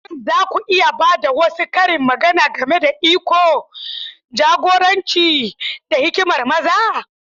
Shin za ku iya ba da wasu karin magana game da iko, jagoranci, da hikimar maza?